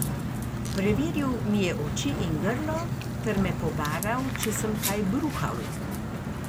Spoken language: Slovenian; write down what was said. Preveril mi je oči in grlo ter me pobaral, če sem kaj bruhal.